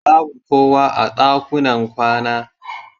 Babu kowa a ɗakunan kwana.